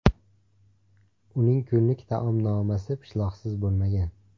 Uning kunlik taomnomasi pishloqsiz bo‘lmagan.